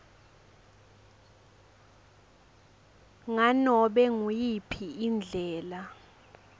nganobe nguyiphi indlela